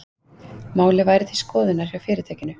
Málið væri til skoðunar hjá fyrirtækinu